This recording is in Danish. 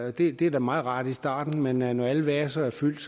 og det er da meget rart i starten men når når alle vaser er fyldt